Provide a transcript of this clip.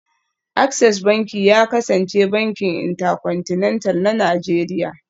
Access Banki ya kasance bankin Intercontinental na Najeriya